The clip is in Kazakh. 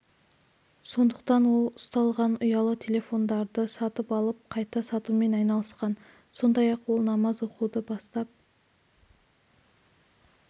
сондықтан ол ұсталған ұялы телефондарды сатып алып қайта сатумен айналысқан сондай-ақ ол намаз оқуды бастап